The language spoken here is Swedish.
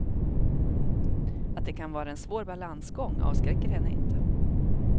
Att det kan vara en svår balansgång avskräcker henne inte.